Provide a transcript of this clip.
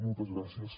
moltes gràcies